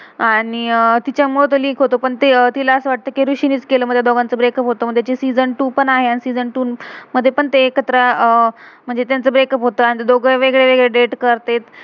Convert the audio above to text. आणि तिच्या मूळ ते लिंक link होतो. आणि पण तिला असं वाटतं' कि रिशी नच केलं. मग त्या दोघांचं ब्रेकअप breakup होतो. मग तेची सीजन season टू two पण आहे. आणि सीजन season टू two मधे पण ते एकत्र अह म्हणजे त्यांच ब्रेकअ breakup होतं. आणि ते दोघं वेगले वेगले डेट date करते